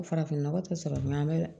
Farafinnɔgɔ tɛ sɔrɔ dun an bɛ